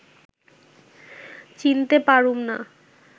চিনতে পারুম না